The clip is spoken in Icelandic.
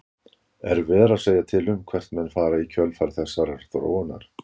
Erfiðara er að segja til um hvert menn fara í kjölfar þessarar þróunar.